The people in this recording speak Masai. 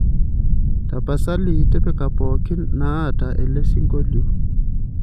tapasali tipika pookin naata elesingolio